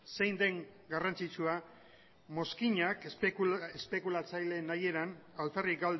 zein den garrantzitsua mozkinak espekulatzaileen nahieran alferrik